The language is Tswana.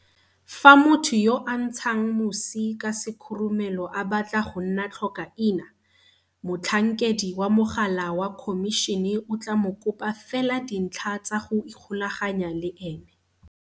Fa motho yo a ntshang mosi ka sekhurumelo a batla go nna tlhokaina, motlhankedi wa mogala wa Khomišene o tla mo kopa fela dintlha tsa go ikgolaganya le ene.